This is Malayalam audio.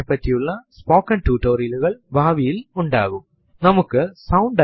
ചിട്ടയായ രീതിയിൽ നമ്മുടെ file കളെ ക്രമപ്പെടുത്താൻ ഒരു ഡയറക്ടറി നമ്മളെ സഹായിക്കുന്നു